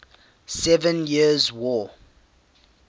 seven years war